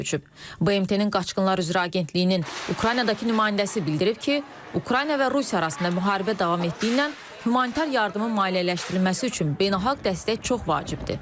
BMT-nin qaçqınlar üzrə agentliyinin Ukraynadakı nümayəndəsi bildirib ki, Ukrayna və Rusiya arasında müharibə davam etdiyindən humanitar yardımın maliyyələşdirilməsi üçün beynəlxalq dəstək çox vacibdir.